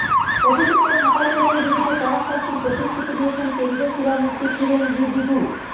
অভিযুক্ত সাঁতার কোচের বিরুদ্ধে কড়া শাস্তির প্রতিশ্রুতি দিয়েছেন কেন্দ্রীয় ক্রীড়ামন্ত্রী কিরেন রিজিজু